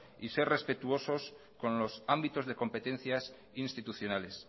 y ser respetuoso con los ámbitos de competencias institucionales